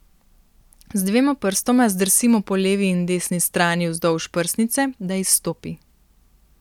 Z dvema prstoma zdrsimo po levi in desni strani vzdolž prsnice, da izstopi.